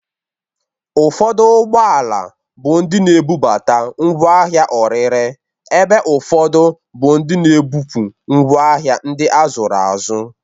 Ufọdụ ụgbọala bụ ndị na-ebubata ngwa ahịa orire, ebe ufọdụ bụ ndị na-ebupu ngwa ahịa ndị azụrụ azụ.